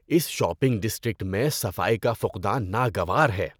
اس shopping district میں صفائی کا فقدان ناگوار ہے۔